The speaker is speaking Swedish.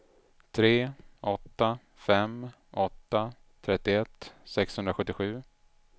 tre åtta fem åtta trettioett sexhundrasjuttiosju